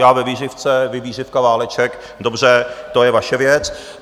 Já ve vířivce, vy vířivka - váleček, dobře, to je vaše věc.